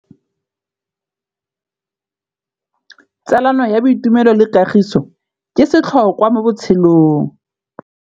Tsalano ya boitumelo le kagiso ke setlhôkwa mo botshelong.